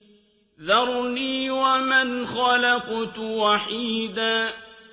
ذَرْنِي وَمَنْ خَلَقْتُ وَحِيدًا